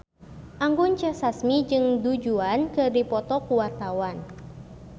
Anggun C. Sasmi jeung Du Juan keur dipoto ku wartawan